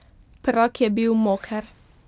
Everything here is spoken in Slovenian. Prag je bil moker.